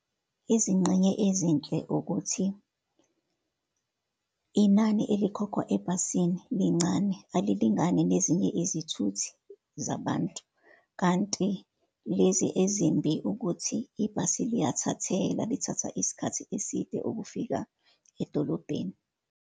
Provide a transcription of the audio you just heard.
Izingxenye ezinhle ukuthi, inani elikhokhwa ebhasini lincane, alilingani nezinye izithuthi zabantu. Kanti lezi ezimbi, ukuthi ibhasi liyathathela, lithatha isikhathi eside ukufika edolobheni.